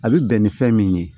A bɛ bɛn ni fɛn min ye